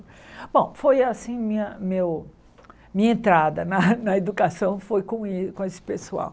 Bom, foi assim minha meu minha entrada na na educação foi com êh com esse pessoal.